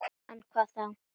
En hvað þá?